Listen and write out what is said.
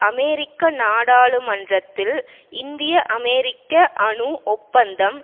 அமெரிக்க நாடாளுமன்றத்தில் இந்திய அமெரிக்க அணு ஒப்பந்தம்